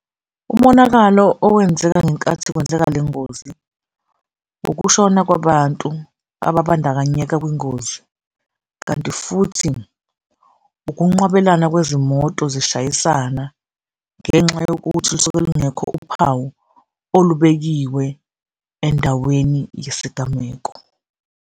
Umonakalo owenzeka ngenkathi kwenzeka le ngozi ukushona kwabantu ababandakanyeka kwingozi kanti futhi ukunqwabelana kwezimoto zishayisana ngenxa yokuthi lusuke lungekho uphawu olubekiwe endaweni yesigameko.